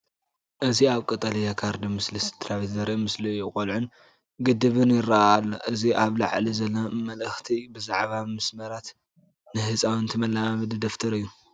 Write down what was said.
እዚ ኣብ ቀጠልያ ካርድ ምስሊ ስድራቤት ዘርኢ ምስሊ እዩ። ቆልዑን ግድብን ይረአ ኣሎ። እዚ ኣብ ላዕሊ ዘሎ መልእኽቲ ብዛዕባ ምምስራት ነህፃውንቲ መለማመዲ ደብተር እዩ።